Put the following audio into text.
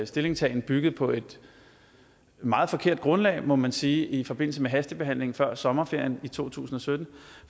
stillingtagen byggede på et meget forkert grundlag må man sige i forbindelse med hastebehandlingen før sommerferien i to tusind og sytten